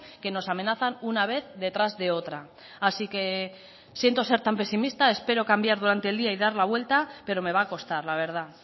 que nos amenazan una vez detrás de otra así que siento ser tan pesimista espero cambiar durante el día y dar la vuelta pero me va a costar la verdad